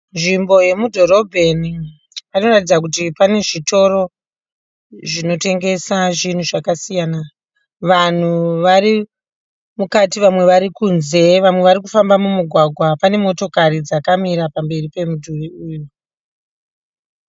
Nzvimbo yemudhorobheni. Panoratidza kuti pane zvitoro zvinotengesa zvinhu zvakasiyana. Vanhu vari mukati, vamwe vari kunze, vamwe vari kufamba mumugwagwa. Pane motokari dzakamira pamberi pemudhuri uyu.